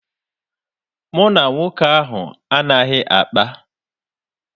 Mụ na nwoke ahụ anaghị akpa.